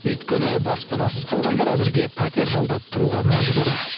өйткені баспанасыз қалғандар әзірге пәтер жалдап тұруға мәжбүр